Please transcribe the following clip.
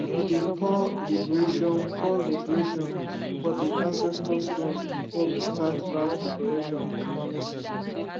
we dey pour libration pour libration for the ancestor stone before we start land preparation for farming season